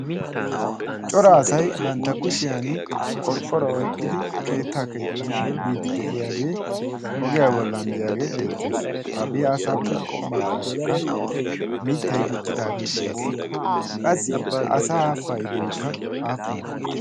cora asai bantta kushiyan qorqqora oiqqidi keettaa keexxano biidi de7iyaagee ogiyaa gollanddiyaagee beettees. ha biaasaappe qo maggaarakka miittai diccidaagee de7ees. qassi ha asaa paidoikka aafunee?